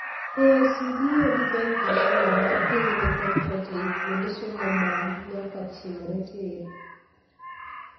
KICD o design carriculum mar piny ne kontent ei kuonde somo nyaka chimre tiir.